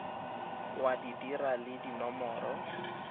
wa di dira le dinomoro